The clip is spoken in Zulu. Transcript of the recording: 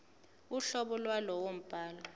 uhlobo lwalowo mbhalo